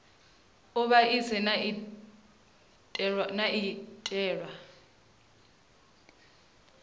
u vhaisa ine ya itelwa